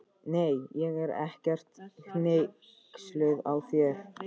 Nei, ég er ekkert hneyksluð á þér.